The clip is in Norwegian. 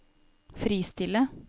fristille